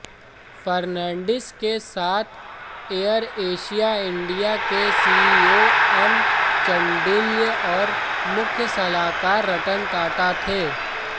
फर्नांडिस के साथ AirAsia India के सीईओ एम चांडिल्य और मुख्य सलाहकार रतन टाटा थे